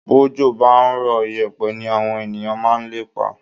Bójò bá ń rọ̀, ìyẹ̀pẹ̀ ní àwọn ènìyàn máa ń lépa